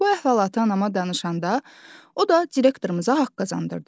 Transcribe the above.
Bu əhvalatı anama danışanda o da direktorumuza haqq qazandırdı.